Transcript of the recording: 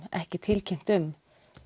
ekki tilkynnt um